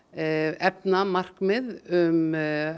efna markmið um